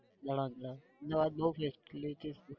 બરાબર અહમદાબાદ બહુ facility છે.